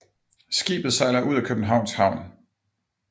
Skibet sejler ud af Københavns Havn